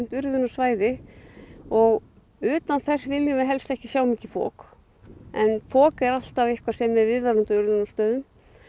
urðunarsvæði og utan þess viljum við helst ekki sjá mikið fok en fok er alltaf eitthvað sem er viðvarandi á urðunarstöðum